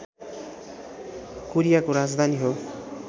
कोरियाको राजधानी हो